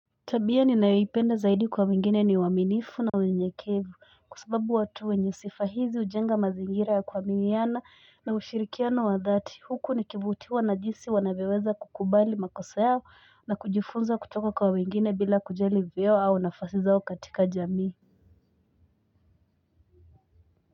Tabia ni nayoipenda zaidi kwa wengine ni uaminifu na unyekevu kwasababu watu wenye sifa hizi hujenga mazingira ya kuaminiana na ushirikiano wa dhati huku ni kivutiwa na jisi wanavyoweza kukubali makosa yao na kujifunza kutoka kwa wengine bila kujali vyeo au nafasi zao katika jamii.